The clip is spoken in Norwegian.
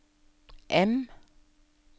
M